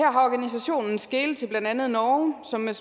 her skelet til blandt andet norge som med